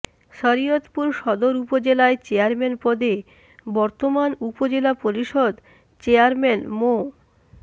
শরীয়তপুর সদর উপজেলায় চেয়ারম্যান পদে বর্তমান উপজেলা পরিষদ চেয়ারম্যান মো